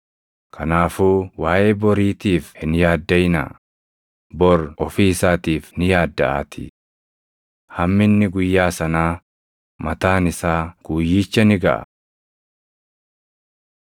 Kanaafuu waaʼee boriitiif hin yaaddaʼinaa; bor ofii isaatiif ni yaaddaʼaatii. Hamminni guyyaa sanaa mataan isaa guyyicha ni gaʼa.